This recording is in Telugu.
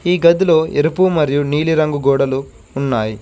ఈ గదిలో ఎరుపు మరియు నీలి రంగు గోడలు ఉన్నాయ్.